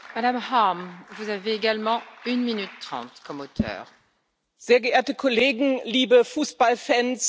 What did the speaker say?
Frau Präsidentin, sehr geehrte Kollegen! Liebe Fußballfans, liebe Fußballer auf der ganzen Welt!